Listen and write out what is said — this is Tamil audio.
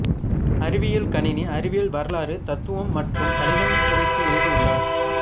அறிவியல் கணினி அறிவியல் வரலாறு தத்துவம் மற்றும் கணிதம் குறித்து எழுதியுள்ளார்